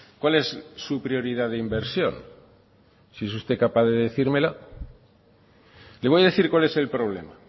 cuál es su prioridad de inversión si es usted capaz de decírmelo le voy a decir cuál es el problema